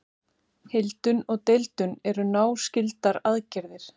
Heildun og deildun eru náskyldar aðgerðir.